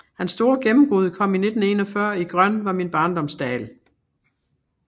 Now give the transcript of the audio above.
Hans store gennembrud kom i 1941 i Grøn var min barndoms dal